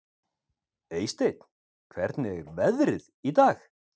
Eysteinn, hvernig er veðrið í dag?